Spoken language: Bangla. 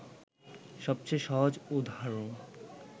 সবচেয়ে সহজ উদাহরণ